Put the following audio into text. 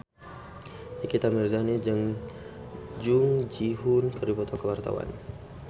Nikita Mirzani jeung Jung Ji Hoon keur dipoto ku wartawan